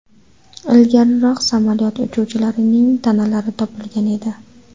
Ilgariroq samolyot uchuvchilarining tanalari topilgan edi.